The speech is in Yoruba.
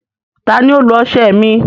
Tani o lo ọṣẹ mi?